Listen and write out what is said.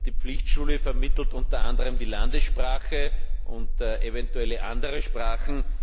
Die Pflichtschule vermittelt unter anderem die Landessprache und eventuelle andere Sprachen.